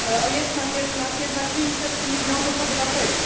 Jest nas jednak 500 milionów obywateli.